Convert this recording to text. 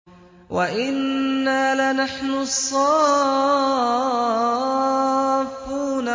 وَإِنَّا لَنَحْنُ الصَّافُّونَ